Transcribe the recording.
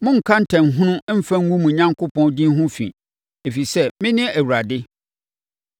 “ ‘Monnka ntanhunu mfa ngu mo Onyankopɔn din ho fi, ɛfiri sɛ, mene Awurade.